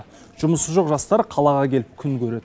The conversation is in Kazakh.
жұмысы жоқ жастар қалаға келіп күн көреді